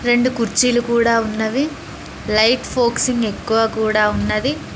రెండు కుర్చీలు కూడా ఉన్నవి లైట్ ఫోక్సింగ్ ఎక్కువ కూడా ఉన్నది.